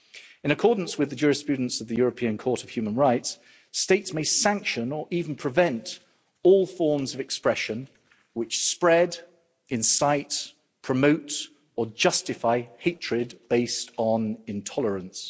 In accordance with the jurisprudence of the European Court of Human Rights, states may sanction, or even prevent, all forms of expression which spread, incite, promote or justify hatred based on intolerance.